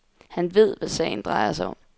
Han ved, hvad sagen drejer sig om.